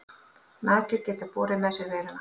Nagdýr geta borið með sér veiruna.